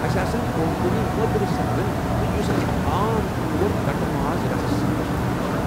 اَسہِ آسن کونکنی مۄدٕرِ سندن تہِ یُس اَسہِ عام طور كٹہٕ ماز رسس سۭتۍ كھیوان چھِ ۔